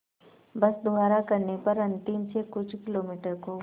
बस द्वारा करने पर अंतिम से कुछ किलोमीटर को